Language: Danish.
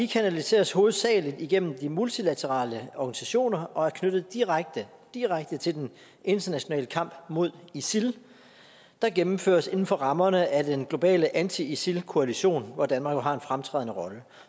kanaliseres hovedsagelig gennem de multilaterale organisationer og er knyttet direkte direkte til den internationale kamp mod isil der gennemføres inden for rammerne af den globale anti isil koalition hvor danmark jo har en fremtrædende rolle